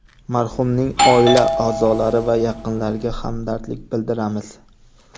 Marhumning oila a’zolari va yaqinlariga hamdardlik bildiramiz.